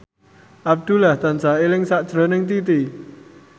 Abdullah tansah eling sakjroning Titi